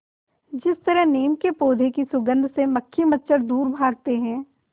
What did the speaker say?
जिस तरह नीम के पौधे की सुगंध से मक्खी मच्छर दूर भागते हैं